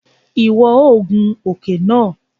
Iwọ o gùn òke náà!